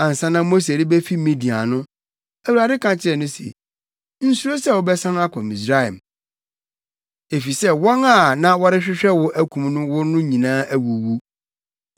Ansa na Mose rebefi Midian no, Awurade ka kyerɛɛ no se, “Nsuro sɛ wobɛsan akɔ Misraim, efisɛ wɔn a na wɔrehwehwɛ wo akum wo no nyinaa awuwu.”